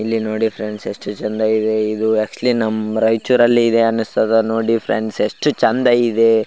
ಇಲ್ಲಿ ನೋಡಿ ಫ್ರೆಂಡ್ಸ್ ಎಷ್ಟು ಚೆಂದ ಇದೆ ಇದು ಎಚ್ಕುಲಿ ನಮ್ ರೈಚೂರಿನಲ್ಲಿ ಇದೆ ಅನ್ನಸ್ತದ ಎಷ್ಟು ಚೆಂದ ಇದೆ .